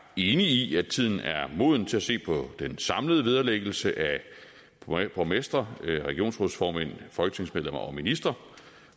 enig i at tiden er moden til at se på den samlede vederlæggelse af borgmestre regionsrådsformænd folketingsmedlemmer og ministre